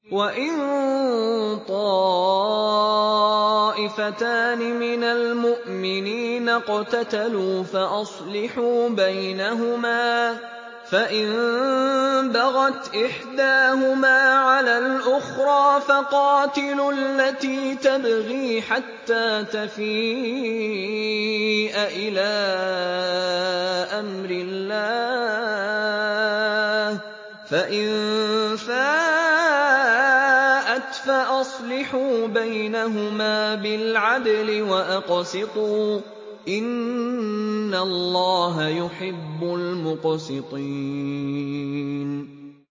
وَإِن طَائِفَتَانِ مِنَ الْمُؤْمِنِينَ اقْتَتَلُوا فَأَصْلِحُوا بَيْنَهُمَا ۖ فَإِن بَغَتْ إِحْدَاهُمَا عَلَى الْأُخْرَىٰ فَقَاتِلُوا الَّتِي تَبْغِي حَتَّىٰ تَفِيءَ إِلَىٰ أَمْرِ اللَّهِ ۚ فَإِن فَاءَتْ فَأَصْلِحُوا بَيْنَهُمَا بِالْعَدْلِ وَأَقْسِطُوا ۖ إِنَّ اللَّهَ يُحِبُّ الْمُقْسِطِينَ